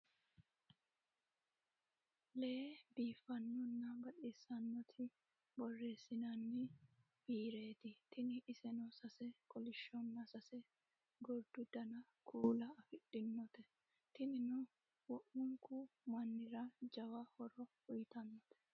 Lee biifanona baxxisanoti boresinnanni biireti tini iseno sase kolishshona sase goriddu Dani kuula afidhinote tinnino wo'munikku mannire jawwa horo uyitannote